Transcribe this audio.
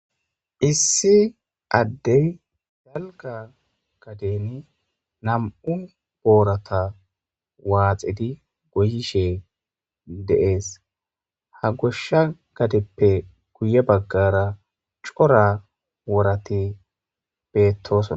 Issi addey dalga gadeni nam'u boorata waaxidi goyeshe de'ees. Ha gishsha gadeppe guye baggara cora worati beetosona.